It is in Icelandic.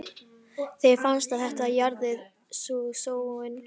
Þeim fannst að þetta jaðraði við sóun.